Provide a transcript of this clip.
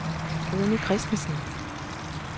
Rune Christensen